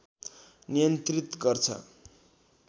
नियन्त्रित गर्छ